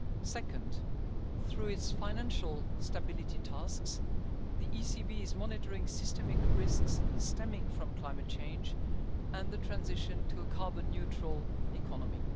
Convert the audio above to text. methods. Second, through its financial stability tasks, the ECB is monitoring systemic risks stemming from climate change and the transition to a carbon neutral